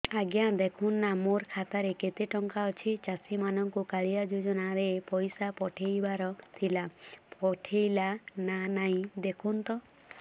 ଆଜ୍ଞା ଦେଖୁନ ନା ମୋର ଖାତାରେ କେତେ ଟଙ୍କା ଅଛି ଚାଷୀ ମାନଙ୍କୁ କାଳିଆ ଯୁଜୁନା ରେ ପଇସା ପଠେଇବାର ଥିଲା ପଠେଇଲା ନା ନାଇଁ ଦେଖୁନ ତ